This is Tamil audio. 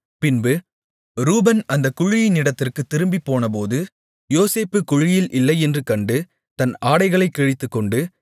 பின்பு ரூபன் அந்தக் குழியினிடத்திற்குத் திரும்பிப்போனபோது யோசேப்பு குழியில் இல்லையென்று கண்டு தன் ஆடைகளைக் கிழித்துக்கொண்டு